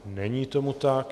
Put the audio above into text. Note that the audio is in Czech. Není tomu tak.